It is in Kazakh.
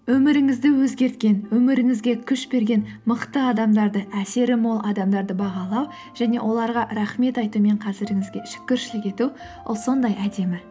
өміріңізді өзгерткен өміріңізге күш берген мықты адамдарды әсері мол адамдарды бағалау және оларға рахмет айту мен қазіріңізге шүкіршілік ету ол сондай әдемі